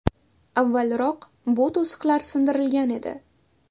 Avvalroq bu to‘siqlar sindirilgan edi .